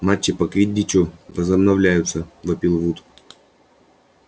матчи по квиддичу возобновляются вопил вуд